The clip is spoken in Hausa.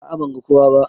A'a ban ga kowa ba.